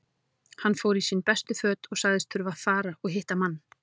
Hann fór í sín bestu föt og sagðist þurfa að fara og hitta mann.